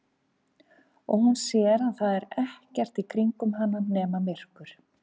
Og hún sér að það er ekkert í kringum hana nema myrkur.